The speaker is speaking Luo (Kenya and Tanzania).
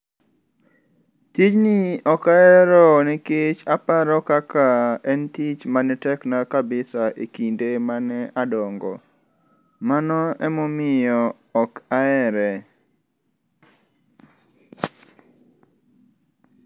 Tijni okahero nikech aparo kaka en tich manetekna kabisa e kinde mane adongo. Mano emomiyo ok ahere.